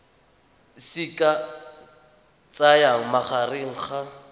se ka tsayang magareng ga